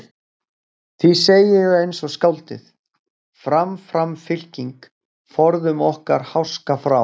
Því segi ég eins og skáldið: Fram fram fylking, forðum okkur háska frá.